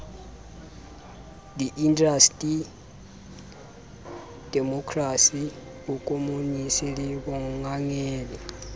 diindasteri demokrasi bokomonisi le bongangele